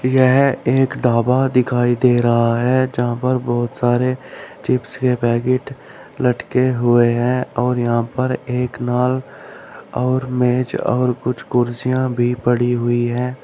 यह एक ढाबा दिखाई दे रहा है जहां पर बहुत सारे चिप्स के पैकेट लटके हुए हैं और यहां पर एक नाल और मेज और कुछ कुर्सियां भी पड़ी हुई हैं।